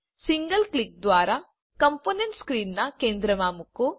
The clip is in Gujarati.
સિંગલ કલિક દ્વારા કમ્પોનન્ટને સ્ક્રીનના કેન્દ્રમાં મૂકો